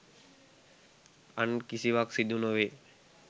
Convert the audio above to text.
අන් කිසිවක් සිදු නොවේ.